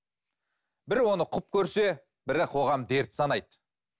бірі оны құп көрсе бірі қоғам дерт санайды